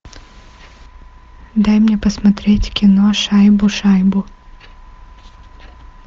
дай мне посмотреть кино шайбу шайбу